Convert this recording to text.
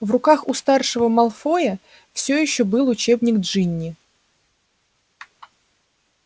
в руках у старшего малфоя всё ещё был учебник джинни